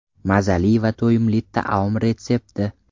Mazali va to‘yimli taom retsepti.